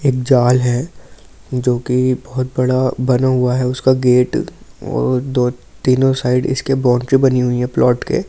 एक जाल है जो कि बहुत बड़ा बना हुआ है उसका गेट वो तो तीनों साइड इसके बाउंड्री बनी हुई है प्लॉट के।